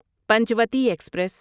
Panchavati express